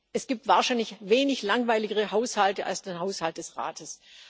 Es gibt wahrscheinlich wenig langweiligere Haushalte als den Haushalt des Rates.